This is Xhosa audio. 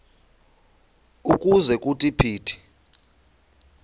ukuze kuthi phithi